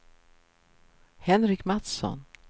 Henrik Matsson